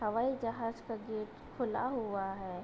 हवाई जहाज़ का गेट खुला हुआ है |